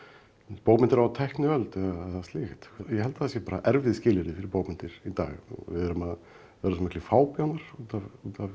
bókmenntir á tækniöld eða slíkt ég held að það séu erfið skilyrði fyrir bókmenntir í dag við erum að verða svo miklir fábjánar út af út af